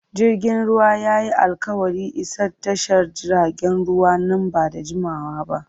Jirgin ruwan ya yi alƙawarin isa tashar jiragen ruwa nan ba da jimawa ba.